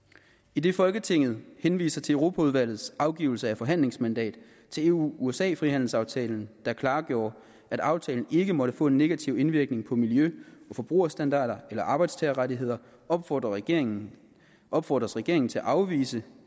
idet folketinget henviser til europaudvalgets afgivelse af forhandlingsmandat til eu usa frihandelsaftalen der klargjorde at aftalen ikke måtte få en negativ indvirkning på miljø og forbrugerstandarder eller arbejdstagerrettigheder opfordres regeringen opfordres regeringen til at afvise